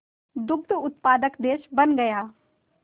दुग्ध उत्पादक देश बन गया